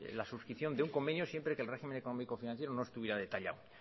la suscripción de un convenio siempre que el régimen económico financiero no estuviera detallado